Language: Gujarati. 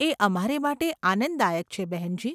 એ અમારે માટે આનંદદાયક છે બહેનજી.